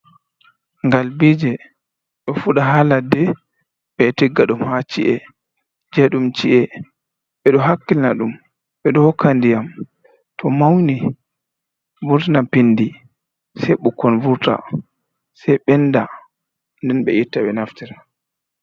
Galbije, do fuɗa ha ladde be tigga ɗum ha ci'e je ɗum ci'e ɓe do hakkilina ɗum ɓe do hokka ndiyam too mauni do vurtana pindi sei bukon vurta sei ɓenda, nden ɓe itta ɓe naftira.